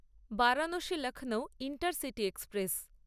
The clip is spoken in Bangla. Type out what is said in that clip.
Varanasi Lucknow intercity express